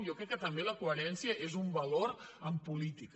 jo crec que també la coherència és un valor en política